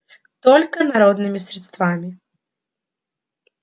только народными средствами